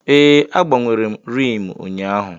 Ee, m gbanwere rim ụnyaahụ.